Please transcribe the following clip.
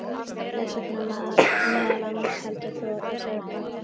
Þess vegna meðal annars heldur þú á þessari bók.